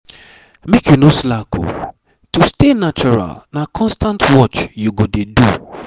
make you no slack o. to stay natural na constant watch you go dey do.